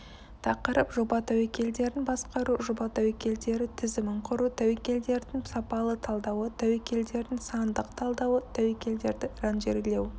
тақырып жоба тәуекелдерін басқару жоба тәуекелдері тізімін құру тәуекелдердің сапалы талдауы тәуекелдердің сандық талдауы тәуекелдерді ранжирлеу